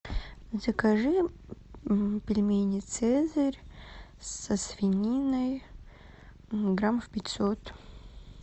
закажи м пельмени цезарь со свининой граммов пятьсот